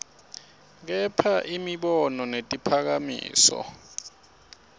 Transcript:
kha imibono netiphakamiso